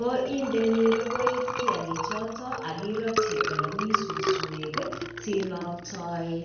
Ko indeni rogoit kiagik choto akindeni olemii suswek sinaktae.